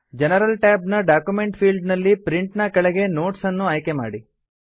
general tab ನ document field ನಲ್ಲಿ print ನ ಕೆಳಗೆ ನೋಟ್ಸ್ ನ್ನು ಆಯ್ಕೆ ಮಾಡಿ